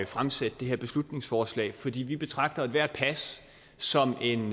fremsætte det her beslutningsforslag fordi vi betragter ethvert pas som en